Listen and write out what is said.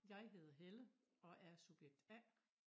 Jeg hedder Helle og er subjekt A